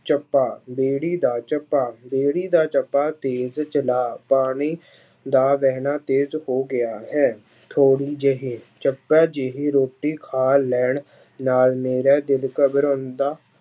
ਚੱਪਾ ਬੇੜੀ ਦਾ ਚੱਪਾ, ਬੇੜੀ ਦਾ ਚੱਪਾ ਤੇਜ ਚਲਾ ਪਾਣੀ ਦਾ ਵਿਹਣਾ ਤੇਜ ਹੋ ਗਿਆ ਹੈ, ਥੋੜ੍ਹੀ ਜਿਹਾ, ਚੱਪੇ ਜਿਹੀ ਰੋਟੀ ਖਾ ਲੈਣ ਨਾਲ ਮੇਰਾ ਦਿਲ ਘਬਰਾਉਂਦਾ